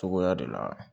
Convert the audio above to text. Cogoya de la